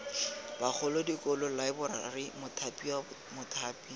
bagolo dikolo laeborari mothapiwa mothapi